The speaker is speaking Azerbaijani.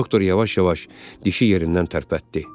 Doktor yavaş-yavaş dişi yerindən tərpətdi.